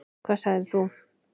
Hvað sagðir þú?